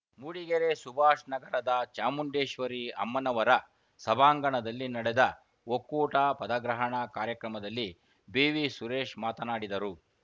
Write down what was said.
ಮೂಡಿಗೆರೆ ಸುಭಾಷ್‌ನಗರದ ಚಾಮುಂಡೇಶ್ವರಿ ಅಮ್ಮನವರ ಸಭಾಂಗಣದಲ್ಲಿ ನಡೆದ ಒಕ್ಕೂಟ ಪದಗ್ರಹಣ ಕಾರ್ಯಕ್ರಮದಲ್ಲಿ ಬಿವಿಸುರೇಶ್‌ ಮಾತನಾಡಿದರು